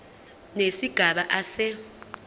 nesigaba a se